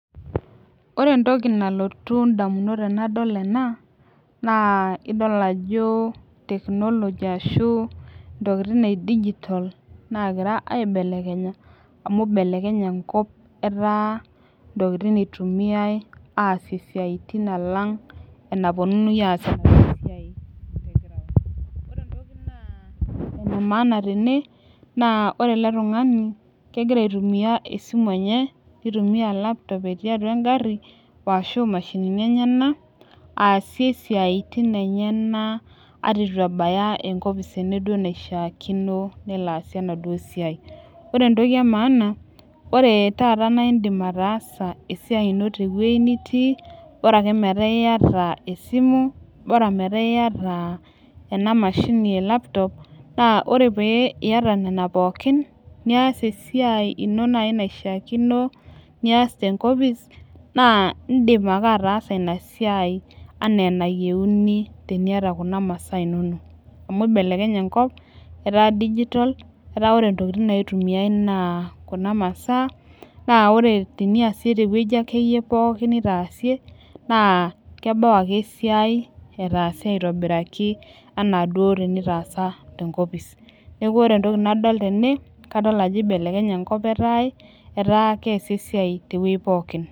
ore entoki nalotu idamunot tenadol enaa naa idol naa ajo tekinoloji ashu itokitin edigitol naa gira aibelekenya temaisha, amu ibelekenye enkop etaa intokitin itumiyai asie isiaitin alang' ena puonunui aas esiai te ground, ore entoki naa ene maana tene egira aitumiya esimu enye nitumiya lapitop enye, natii atua egari ashu itumiya imashinini enyanak aasie isiatin enyana eton etu ebaki enkopis pee elo asie enaduo siai ore teta entoki emaana naa idim ataasa esiai ino teweji nitii, bora ake meeta iyata esimu, bora ake metaa iyata enamashi naji lapitop, naa paa ore paa iyata nena pooki niyas esiai ino naaji naishaakino, niyas tenkopis enaa ina ake naishakino, tiniyata kuna masaa inonok amu ibelekenye enkop etaa digitol, kuna masaa teweji akeyie nitaasie naa kelotu ake esiai etaase aitobiraki enaa duo etaasa tenkopis neeku ore entoki nadol tene kadol ajo ibelekenye enkop etaa keesi esiai teweji pooki.